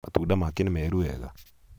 matunda make nĩ meeru wega?